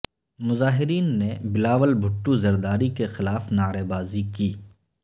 مظاہرین نے بلاول بھٹو زرداری کے خلاف نعرے بازی کی